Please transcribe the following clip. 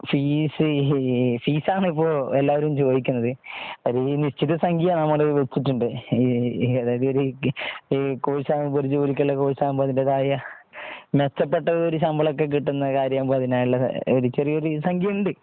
Fees fees ആണ് ഇപ്പോൾ എല്ലാവരും ചോദിക്കുന്നത് നിശ്ചിത സംഖ്യ നമ്മൾ വെച്ചിട്ടുണ്ട് അതായിത് കോഴ്സ് ആവുമ്പോൾ ഒരു ജോലിക്കുള്ള കോഴ്സ് ആകുമ്പോൾ അതിന്റെതായ മെച്ചപ്പെട്ട ഒരു ശമ്പളം ഒക്കെ കിട്ടുന്ന ഒരു കാര്യം ആവുമ്പോൾഅതിനായിഅതിനായി ഉള്ള ഒരു ചെറിയൊരു സംഖ്യയുണ്ട്.